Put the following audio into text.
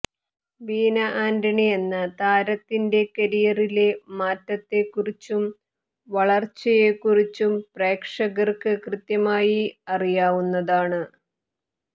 ബീന ആന്റണി എന്ന താരത്തിന്റെ കരിയറിലെ മാറ്റത്തെക്കുറിച്ചും വളര്ച്ചയെക്കുറിച്ചും പ്രേക്ഷകര്ക്ക് കൃത്യമായി അറിയാവുന്നതാണ്